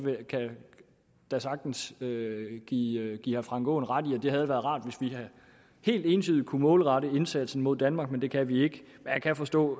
kan da sagtens give herre frank aaen ret i at det havde været rart hvis vi helt entydigt kunne målrette indsatsen mod danmark det kan vi ikke men jeg kan forstå